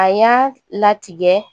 A y'a latigɛ